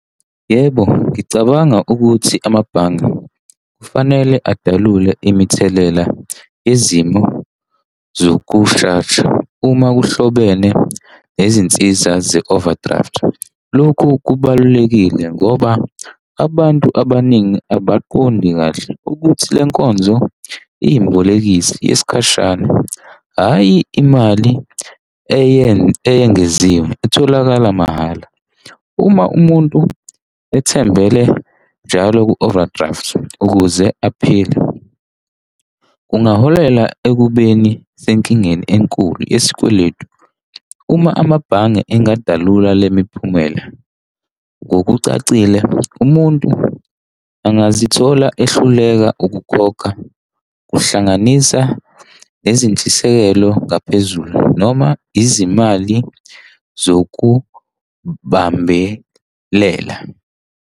Yebo, ngicabanga ukuthi amabhange kufanele adalule imithelela yezimo zokushesha uma kuhlobene nezinsiza ze-overdraft. Lokhu kubalulekile ngoba abantu abaningi abaqondi kahle ukuthi le nkonzo iyibolekisi yesikhashana, hhayi imali eyengeziwe itholakala mahhala. Uma umuntu ethembele njalo ku-overdraft ukuze aphile kungaholela ekubeni senkingeni enkulu yesikweletu. Uma amabhange engadalula le miphumela ngokucacile, umuntu angazithola ehluleka ukukhokha, kuhlanganisa nezintshisekelo ngaphezulu noma izimali zokubambelela.